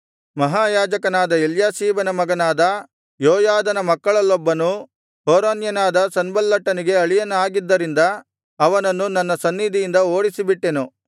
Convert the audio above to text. ಮಹಾಯಾಜಕನಾದ ಎಲ್ಯಾಷೀಬನ ಮಗನಾದ ಯೋಯಾದನ ಮಕ್ಕಳಲ್ಲೊಬ್ಬನು ಹೊರೋನ್ಯನಾದ ಸನ್ಬಲ್ಲಟನಿಗೆ ಅಳಿಯನಾಗಿದ್ದರಿಂದ ಅವನನ್ನು ನನ್ನ ಸನ್ನಿಧಿಯಿಂದ ಓಡಿಸಿಬಿಟ್ಟೆನು